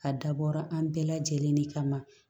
A dabɔra an bɛɛ lajɛlen de kama